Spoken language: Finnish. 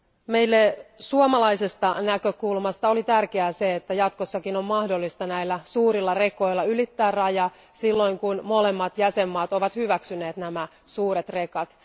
Meille suomalaisesta näkökulmasta oli tärkeää se, että jatkossakin on mahdollista näillä suurilla rekoilla ylittää raja, silloin kun molemmat jäsenmaat ovat hyväksyneet nämä suuret rekat.